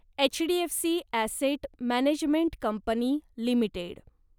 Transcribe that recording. HDFC asset management company limited